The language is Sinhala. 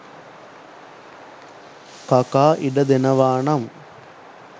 කකා ඉඩ දෙනවා නම්.